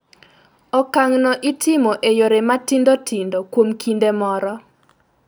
Okang�no itimo e yore matindo tindo kuom kinde moro.